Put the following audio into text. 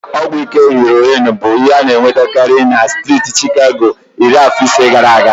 Ọgwụ ike heroin bụ ana-enwetakarị na striiti Chicago iri afọ ise gaara aga.